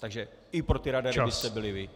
Takže i pro ty radary byste byli vy.